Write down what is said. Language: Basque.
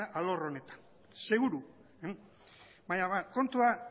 duena alor honetan seguru baina